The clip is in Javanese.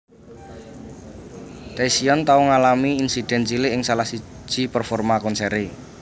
Taecyeon tau ngalami insiden cilik ing salah siji performa konsere